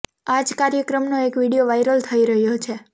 આ જ કાર્યક્રમનો એક વીડિયો વાઇરલ થઇ રહ્યો છે